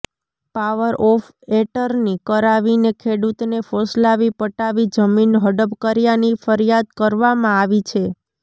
power of એર્ટની કરાવીને ખેડૂતને ફોસલાવી પટાવી જમીન હડપ કર્યાની ફરિયાદ કરવામાં આવી છે